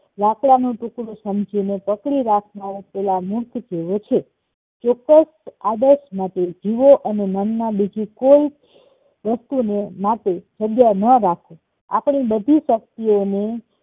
લાકડાનું ટુકડું સમજી ને પકડી રાખનાર સલામત જીવે છે ચોક્કસ આદર્શ માટે જીવો અને મનમા બીજું કોઈ વ્યકતિને માટે જગ્યા ન રાખો આપણી બધીજ શક્તિઓને